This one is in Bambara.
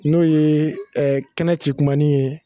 N'o yee kɛnɛ cikumanin ye